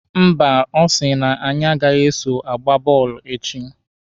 Mba, ọ sị na anyị agaghị eso agba bọọlụ echi.